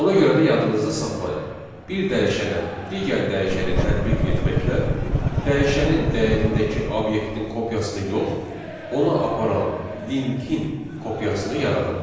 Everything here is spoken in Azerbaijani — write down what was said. Ona görə də yadınızda saxlayın: bir dəyişənə digər dəyişəni tətbiq etməklə dəyişənin dəyərindəki obyektin kopyasını yox, ona aparan linkin kopyasını yaradırıq.